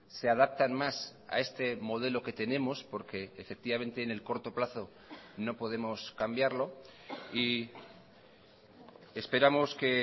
se adaptan más a este modelo que tenemos porque efectivamente en el corto plazo no podemos cambiarlo y esperamos que